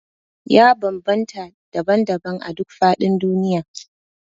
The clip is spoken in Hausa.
Ya bambanta daban-daban a duk faɗin duniya